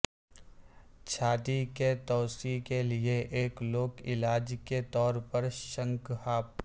چھاتی کے توسیع کے لئے ایک لوک علاج کے طور پر شنک ہاپ